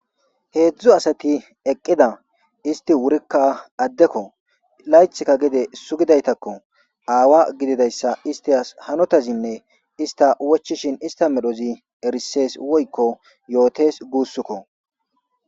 Hezdzdu asati eqida issti wurikka adekko istikka layiththi sugidayitakko istas hanotaz awa gididayissa isat medhozi erisses